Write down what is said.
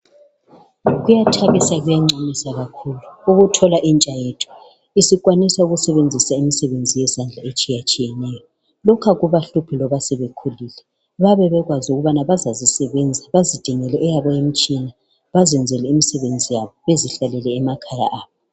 Kuyathabisa kuyancomisa kakhulu ukuthola intsha yethu isikwanisa ukusebenzisa imisebenzi yezandla etshiyatshiyeneyo. Lokhu akubahluphi loba sebekhulile. Bayabe bekwazi ukubana bazazisebenza